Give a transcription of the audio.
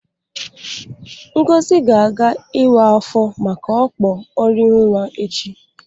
Ngozi ga-aga iwa afọ maka okpo orinwa echi.